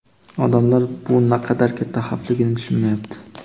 "Odamlar bu naqadar katta xavfligini tushunmayapti".